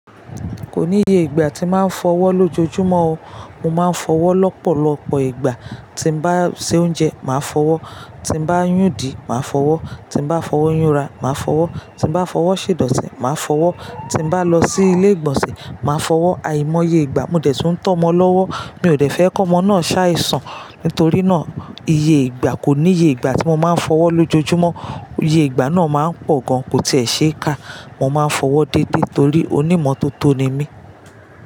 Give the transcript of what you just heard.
Kò níye ìgbà tí màá fọwọ́ lójoojúmọ́ o. Mo máa ń fọwọ́ lọ́pọ̀lọpọ̀ ìgbà. Tí n bá se oúnjẹ, màá fọwọ́, tí n bá yún idi, màá fọwọ́, tí n bá fọwọ́ yúnra, màá fọwọ́, tí n bá fọwọ́ ṣèdọ̀tí, màá fọwọ́, tí n bá lọ sí ilé ìgbọ̀nsẹ̀, màá fọwọ́. Àìmọye ìgbà. Mo dẹ̀tún tó mọ́ lọ́wọ́. Mi ò dẹ̀ fẹ́ kọ́mọ́ náà ṣàìsàn. Nítorí náà, iye ìgbà kò níye ìgbà tí mo máa ń fọwọ́ lójoojúmọ́. Iye ìgbà náà máa ń pọ̀ gan, kò tẹ̀ẹ̀ ṣe é ká. Mo máa ń fọwọ́ dédé torí onímọ́tótó ni mí.